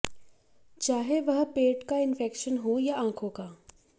चाहे वह पेट का इन्फेक्शन हो या आंखों का